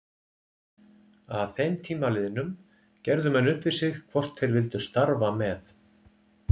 Að þeim tíma liðnum gerðu menn upp við sig hvort þeir vildu starfa með